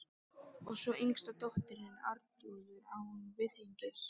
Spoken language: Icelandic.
Og svo yngsta dóttirin, Arnþrúður, án viðhengis.